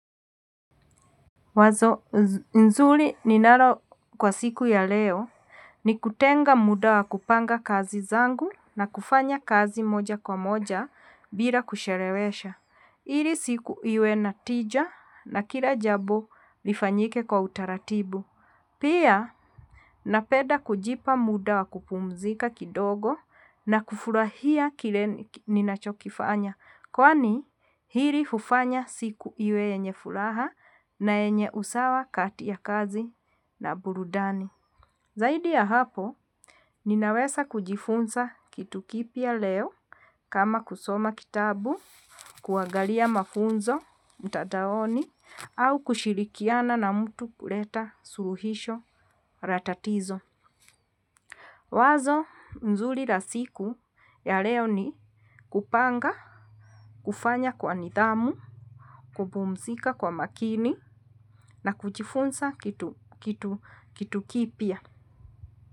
Wazo nzuri ninalo kwa siku ya leo ni kutenga muda wa kupanga kazi zangu na kufanya kazi moja kwa moja bila kuchelewesha. Ili siku iwe na tija na kila jambo lifanyike kwa utaratibu. Pia napenda kujipa muda wa kupumzika kidogo na kufurahia kile ninachokifanya. Kwani hili hufanya siku iwe yenye furaha na yenye usawa kati ya kazi na burudani. Zaidi ya hapo, ninaweza kujifunza kitu kipya leo kama kusoma kitabu, kuangalia mafunzo mtandaoni, au kushirikiana na mtu kuleta suluhisho la tatizo. Wazo mzuri la siku ya leo ni kupanga, kufanya kwa nidhamu, kupumzika kwa makini na kujifunsa kitu kipya.